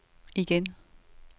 igen